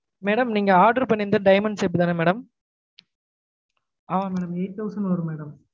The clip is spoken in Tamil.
madam நீங்க order பண்ணிருந்தது diamond shape தான madam ஆமா madam eight thousand வரும் madam